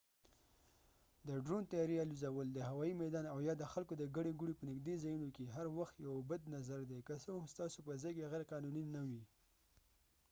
د ډرون طیارې الوزول د هوایي میدان او یا د خلکو د ګڼې ګوڼې په نژدې ځایونو کې هر وخت یوه بد نظر دی که څه هم ستاسې په ځاې کې غیر قانوني نه وي